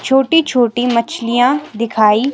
छोटी-छोटी मछलियां दिखाई--